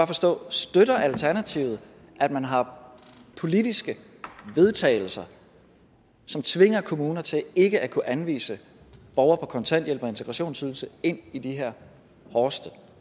forstå støtter alternativet at man har politiske vedtagelser som tvinger kommunerne til ikke at kunne anvise borgere på kontanthjælp og integrationsydelse ind i de her hårdeste